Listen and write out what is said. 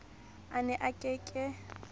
a ne a ke ke